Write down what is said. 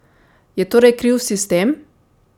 Je torej kriv sistem?